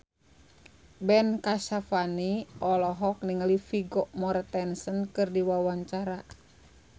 Ben Kasyafani olohok ningali Vigo Mortensen keur diwawancara